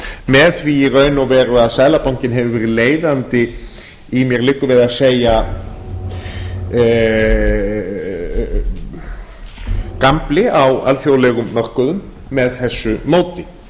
með því í raun og veru að seðlabankinn hefur verið leiðandi í mér liggur við að segja gambli á alþjóðlegum mörkuðum með þessu móti